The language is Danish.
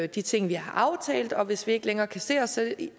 de ting vi har aftalt hvis vi ikke længere kan se os